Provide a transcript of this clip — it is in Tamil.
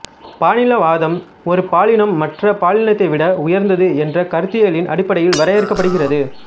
பாலின வாதம் ஒரு பாலினம் மற்ற பாலினத்தை விட உயர்ந்தது என்ற கருத்தியலின் அடிப்படையில் வரையறுக்கப்படுகிறது